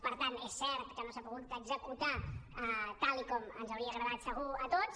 per tant és cert que no s’ha pogut executar tal com ens hauria agradat segur a tots